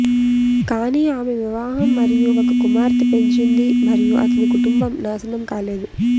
కానీ ఆమె వివాహం మరియు ఒక కుమార్తె పెంచింది మరియు అతని కుటుంబం నాశనం కాలేదు